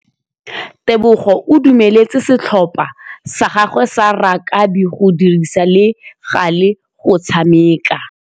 Tebogô o dumeletse setlhopha sa gagwe sa rakabi go dirisa le galê go tshameka.